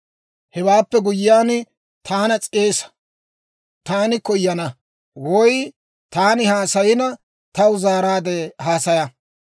Hewaappe guyyiyaan, taana s'eesa; taani koyana. Woy taani haasayina, taw zaaraadde haasaya.